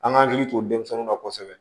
An ka hakili to denmisɛnninw na kosɛbɛ